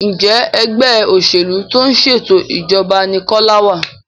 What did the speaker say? Njé Ẹgbẹ́ òṣèlú tó ń ṣètò ìjọba ní Kola wá?